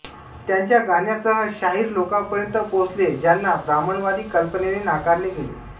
त्यांच्या गाण्यांसह शाहीर लोकांपर्यंत पोहोचले ज्यांना ब्राह्मणवादी कल्पनेने नाकारले गेले